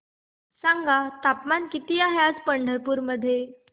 सांगा तापमान किती आहे आज पंढरपूर मध्ये